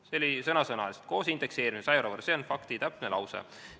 " Seal oli sõna-sõnalt "koos indekseerimisega 100 euro võrra", see on täpne lause.